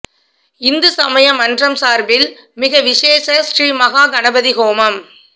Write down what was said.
இந்து சமய மன்றம் சார்பில் மிக விசேஷ ஸ்ரீமஹா கணபதி ஹோமம்